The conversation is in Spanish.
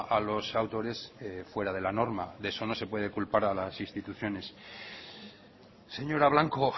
a los autores fuera de la norma de eso no se puede culpar a las instituciones señora blanco